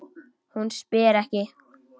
Hún spyr ekki.